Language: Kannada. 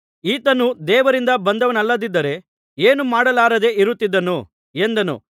ಈತನು ದೇವರಿಂದ ಬಂದವನಲ್ಲದಿದ್ದರೆ ಏನೂ ಮಾಡಲಾರದೆ ಇರುತ್ತಿದ್ದನು ಎಂದನು